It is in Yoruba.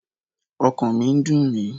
Ọkàn mi ń dùn mí